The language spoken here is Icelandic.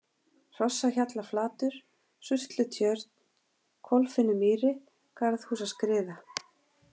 Hrossahjallaflatur, Surtlutjörn, Kolfinnumýri, Garðhúsaskriða